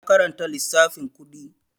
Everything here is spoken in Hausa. Ya karanta lissafin kuɗi